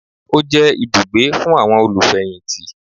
Ó jẹ́ ibùgbé fún àwọn olùfẹ̀yìntì